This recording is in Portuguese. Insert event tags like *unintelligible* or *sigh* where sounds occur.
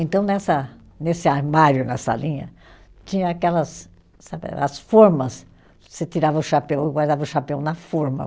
Então, nessa nesse armário, na salinha, tinha aquelas *unintelligible* as formas, você tirava o chapéu e guardava o chapéu na forma.